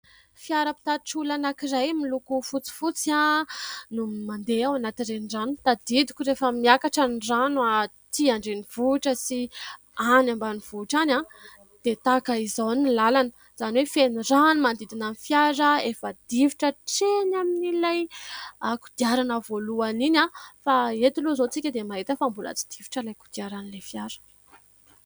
Fiara mpitatitra olona anankiray miloko fotsifotsy no mande ao anaty renirano, tadidiko rehefa miakatra ny rano aty an-drenivohitra sy any ambanivohitra any dia tahaka izao ny lalana izany hoe feno rano manodidina ny fiara efa difotra hatreny amin'ilay kodiarana voalohany iny fa eto aloha izao tsika dia mahita fa mbola tsy difotra ny kodiaran'ilay fiara.